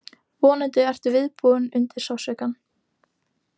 Vonandi ertu viðbúinn undir sársaukann.